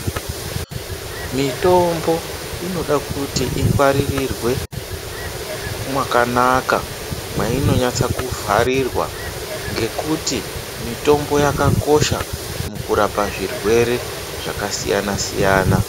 Mitombo inoda kuti igwaririrwe makanaka mwaino nyatsa ku vharirirwa ngekuti mitombo yaka kosha muku rapa zvirwere zvaka siyana siyana.